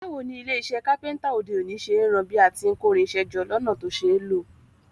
Báwoni ilé isẹ́ carpenter òde òní ṣe n ran bí a ti n kórinsẹ́ jọ lọ́nà to ṣeé lò